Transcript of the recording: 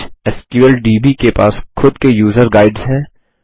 HSQLDB के पास खुद के यूज़र गाइड्स हैं